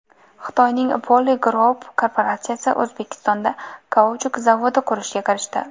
Xitoyning Poly Group korporatsiyasi O‘zbekistonda kauchuk zavodi qurishga kirishdi.